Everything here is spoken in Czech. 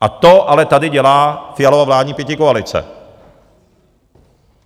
A to ale tady dělá Fialova vládní pětikoalice.